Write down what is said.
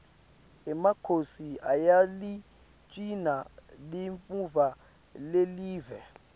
emakhosi ayaligcina limuva lelive